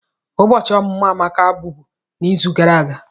Ụbọchị ọmụmụ Amaka bụbu n'izu gara aga.